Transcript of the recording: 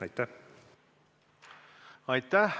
Aitäh!